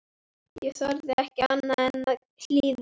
Ég þorði ekki annað en að hlýða.